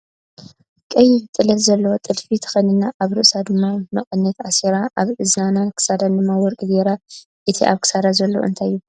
ቀይሕ ጥለት ዘለዎ ጥልፊ ተከዲና ኣብ ርእሳ ድማ መቀነት ኣሲራ። ኣብ እዝናን ክሳዳን ድማ ወርቂ ገይራ ። እቲ ኣብ ክሳዳ ዘሎ እንታይ ይባሃል ?